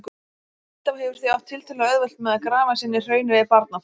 Hvítá hefur því átt tiltölulega auðvelt með að grafa sig inn í hraunið við Barnafoss.